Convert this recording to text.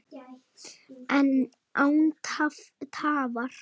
Án tafar!